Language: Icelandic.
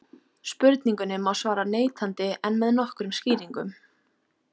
Spurningunni má svara neitandi en með nokkrum skýringum.